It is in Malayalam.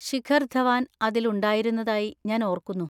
ശിഖർ ധവാൻ അതിൽ ഉണ്ടായിരുന്നതായി ഞാൻ ഓർക്കുന്നു.